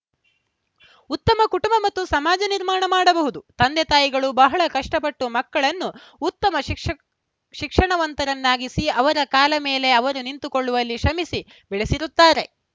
ಉತ್ತಮ ಕುಟುಂಬ ಮತ್ತು ಸಮಾಜ ನಿರ್ಮಾಣ ಮಾಡಬಹುದು ತಂದೆ ತಾಯಿಗಳು ಬಹಳ ಕಷ್ಟಪಟ್ಟು ಮಕ್ಕಳನ್ನು ಉತ್ತಮ ಶಿಕ್ಷಕ್ ಶಿಕ್ಷಣವಂತರನ್ನಾಗಿಸಿ ಅವರ ಕಾಲ ಮೇಲೆ ಅವರು ನಿಂತುಕೊಳ್ಳುವಲ್ಲಿ ಶ್ರಮಿಸಿ ಬೆಳೆಸಿರುತ್ತಾರೆ